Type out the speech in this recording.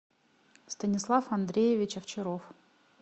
станислав андреевич овчаров